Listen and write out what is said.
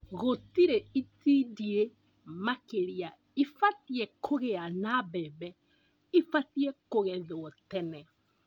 Gũtĩrĩ itindiĩ makĩria ibatie kũgĩa na mbembe ibatie kũgethwo tene